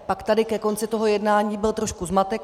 Pak tady ke konci toho jednání byl trošku zmatek.